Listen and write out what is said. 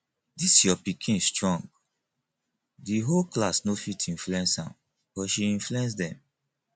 dis your pikin strong the whole class no fit influence am but she influence dem